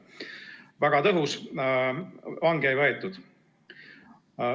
Väga tõhus, vange ei võetud.